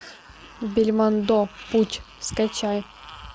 бельмондо путь скачай